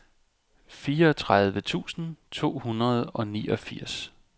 fireogtredive tusind to hundrede og niogfirs